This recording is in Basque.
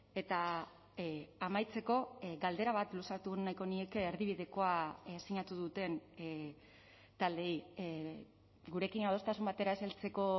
eta amaitzeko galdera bat luzatu nahiko nieke erdibidekoa sinatu duten taldeei gurekin adostasun batera ez heltzeko